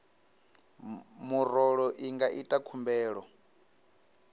murole i nga ita khumbelo